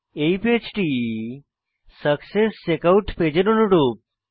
এই পেজটি সাকসেসচেকআউট পেজের অনুরূপ